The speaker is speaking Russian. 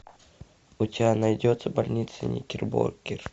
у тебя найдется больница никербокер